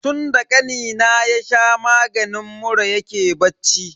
Tunda kanina ya sha maganin mura yake bacci.